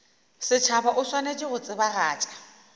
setšhaba o swanetše go tsebagatša